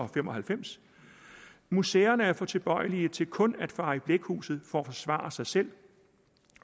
fem og halvfems museerne er for tilbøjelige til kun at fare i blækhuset for at forsvare sig selv